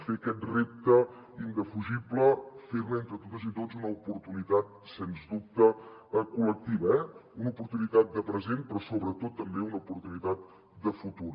fer aquest repte indefugible fer ne entre totes i tots una oportunitat sens dubte col·lectiva una oportunitat de present però sobretot també una oportunitat de futur